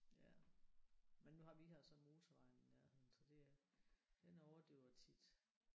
Ja. Men nu har vi har så motorvejen i nærheden så det er den overdøver tit